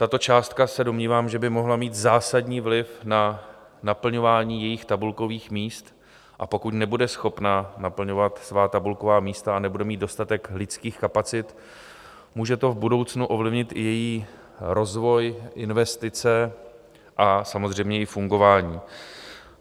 Tato částka, se domnívám, že by mohla mít zásadní vliv na naplňování jejich tabulkových míst, a pokud nebude schopna naplňovat svá tabulková místa a nebude mít dostatek lidských kapacit, může to v budoucnu ovlivnit i její rozvoj, investice a samozřejmě i fungování.